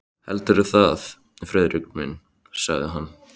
Heldurðu það, Friðrik minn? sagði hann.